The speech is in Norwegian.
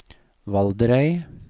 Valderøy